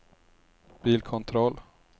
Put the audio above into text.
bilkontroll